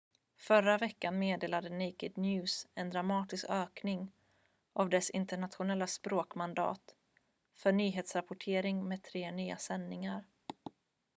förra veckan meddelade naked news en dramatisk ökning av dess internationella språk-mandat för nyhetsrapportering med tre nya sändningar